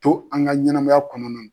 To an ka ɲɛnɛmaya kɔnɔna